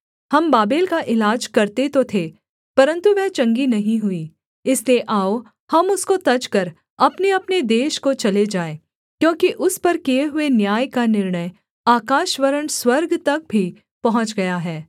हम बाबेल का इलाज करते तो थे परन्तु वह चंगी नहीं हुई इसलिए आओ हम उसको तजकर अपनेअपने देश को चले जाएँ क्योंकि उस पर किए हुए न्याय का निर्णय आकाश वरन् स्वर्ग तक भी पहुँच गया है